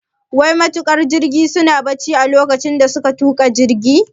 Wai matuƙan jirgin suna barci lokacin da suka tuka jirgin?